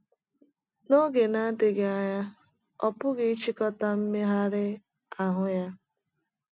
N’oge na - adịghị anya ọ pụghị ịchịkota mmegharị ahụ ya.